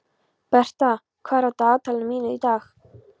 Bertha, hvað er í dagatalinu mínu í dag?